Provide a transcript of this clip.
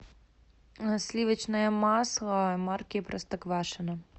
сливочное масло марки простоквашино